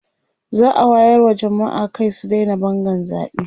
za'a wayar wa jamma'a Kai su Daina Bangan zaɓe